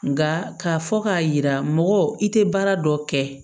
Nka k'a fɔ k'a yira mɔgɔ i tɛ baara dɔ kɛ